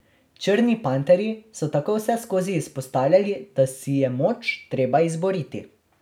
Črni panterji so tako vseskozi izpostavljali, da si je moč treba izboriti.